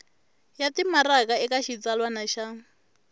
ya timaraka eka xitsalwana xa